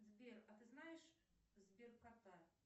сбер а ты знаешь сберкота